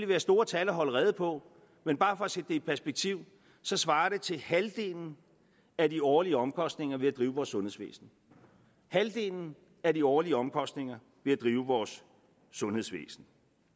være store tal at holde rede på men bare for at sætte det i perspektiv svarer det til halvdelen af de årlige omkostninger ved at drive vores sundhedsvæsen halvdelen af de årlige omkostninger ved at drive vores sundhedsvæsen